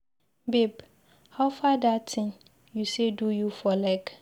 Babe howfar dat thing you say do you for leg?